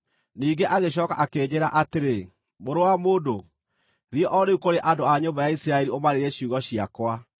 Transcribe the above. Ningĩ agĩcooka akĩnjĩĩra atĩrĩ: “Mũrũ wa mũndũ, thiĩ o rĩu kũrĩ andũ a nyũmba ya Isiraeli ũmaarĩrie ciugo ciakwa.